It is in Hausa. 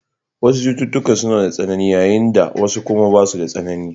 Wasu cututtuka suna da tsanani, yayin da wasu kuma basu da tsanani.